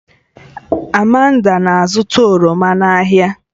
Amanda na-azụta oroma n'ahịa